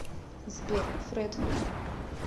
сбер фред